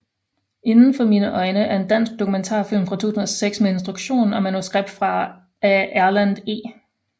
Inden for mine øjne er en dansk dokumentarfilm fra 2006 med instruktion og manuskript af Erlend E